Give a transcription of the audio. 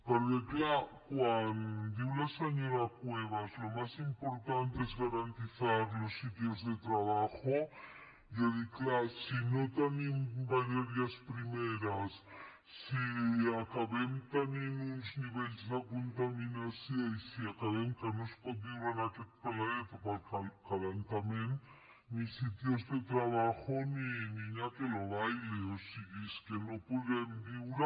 perquè és clar quan diu la senyora cuevas lo más importante es garantizar los sitios de trabajo jo dic és clar si no tenim matèries primeres si acabem tenint uns nivells de contaminació i si acabem que no es pot viure en aquest planeta per l’escalfament ni sitios de trabajo ni niña que lo baile o sigui és que no podrem viure